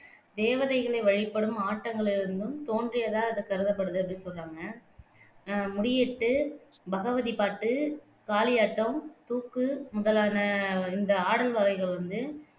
தேவதைகளை வழிபடும் ஆட்டங்களிலிருந்தும் தோன்றியதா இது கருதப்படுது அப்படி சொல்றாங்க ஆஹ் முடியேட்டு, பகவதி பாட்டு, காளியாட்டம், தூக்கு முதலான இந்த ஆடல் வகைகள் வந்து